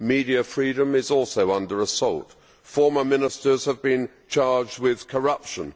Media freedom is also under assault. Former ministers have been charged with corruption.